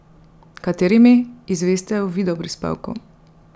Katerimi, izveste v videoprispevku.